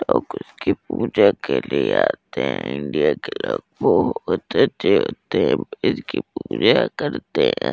लोग उसकी पूजा के लिए आते हैं इंडिया के लोग बहुत अच्छे होते हैं इसकी पूजा करते हैं।